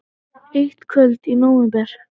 Eitt kvöld í nóvember.